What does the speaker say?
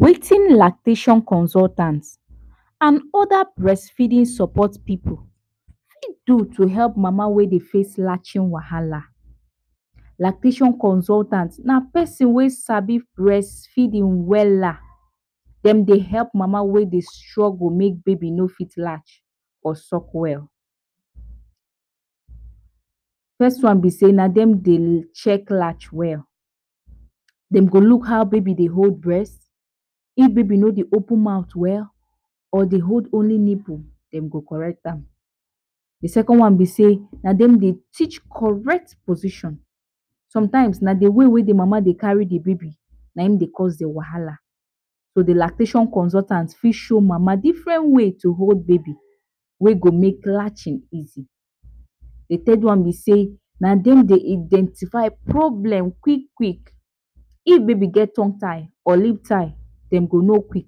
Wetin Lactating consultant and other breastfeeding support pipu fit do to help mama wey dey face latching wahala. lactation consultant na person wey sabi breastfeeding wella, dem dey help mama wey dey struggle make baby no fit latch or suck well. First one be sey na dem dey check latch well, dem go look how baby dey hold breast, if baby no dey open mouth well or dey hold only nipple dem go correct am. The second one be sey na dem dey teach correct position sometimes na de way wey de mama de carry de baby na em de cause dem wahala. So de lactation consultant fit show mama different way to hold baby whey go make latching easy. De third one be sey, na dem de identify problem quick quick, if baby get tongue tie or lip tie, dem go no quick